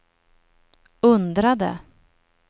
undrade